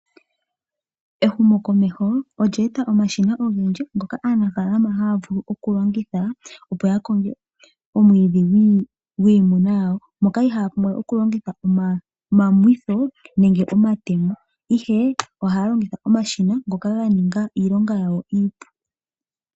Ehumokomeho olye e ta omashina ngoka aanafalama haya vulu okulongitha opo ya konge omwiidhi gwiimuna yawo , moka iha ya longitha omamwitho nenge omatemo, ashike oha ya longitha omashina ngoka ga ninga iilonga yawo iipu.